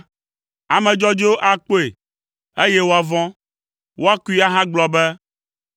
Ame dzɔdzɔewo akpɔe, eye woavɔ̃; woakoe ahagblɔ be,